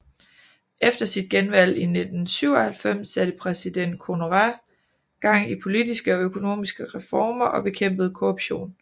Efter sit genvalg i 1997 satte præsident Konaré gang i politiske og økonomiske reformer og bekæmpede korruption